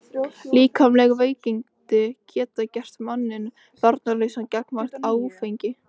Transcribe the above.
Líkamleg veikindi geta gert manninn varnarlausan gagnvart áfengi.